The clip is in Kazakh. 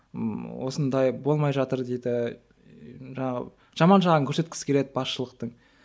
ммм осындай болмай жатыр дейді жаңағы жаман жағын көрсеткісі келеді басшылықтың